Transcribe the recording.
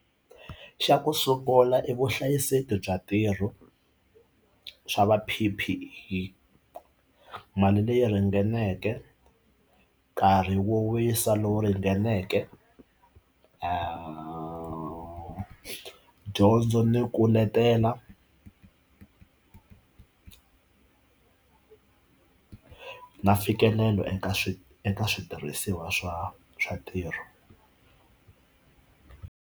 Xa ku sungula i vuhlayiseki bya ntirho swa va P_P_E mali leyi ringaneke nkarhi wo wisa lowu ringaneke dyondzo ni ku letela ku na mfikelelo eka swi eka switirhisiwa swa swa ntirho.